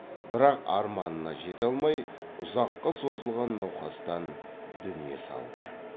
бірақ арманына жете алмай ұзаққа созылған науқастан дүние салды